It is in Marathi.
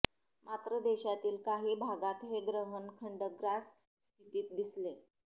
मात्र देशातील काही भागात हे ग्रहण खंडग्रास स्थितीत दिसले